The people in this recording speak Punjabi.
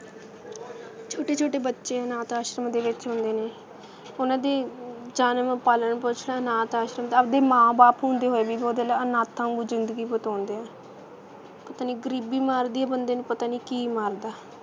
ਛੋਟੇ ਛੋਟੇ ਬੱਚੇ ਅਨਾਥ-ਆਸ਼ਰਮ ਦੇ ਵਿੱਚ ਹੁੰਦੇ ਨੇ ਉਹਨਾਂ ਦੇ ਜਨਮ ਪਾਲਣ ਪੋਸ਼ਣ ਅਨਾਥ-ਆਸ਼ਰਮ ਆਪਦੇ ਮਾਂ ਬਾਪ ਹੁੰਦੇ ਹੋਏ ਵੀ ਉਹ ਦਿਲ ਅਨਾਥਾਂ ਵਾਂਗੂ ਜ਼ਿੰਦਗੀ ਬਿਤਾਉਂਦੇ ਆ ਪਤਾ ਨਹੀਂ ਗਰੀਬੀ ਮਾਰਦੀ ਆ ਬੰਦੇ ਨੂੰ ਪਤਾ ਨਹੀਂ ਕੀ ਮਾਰਦਾ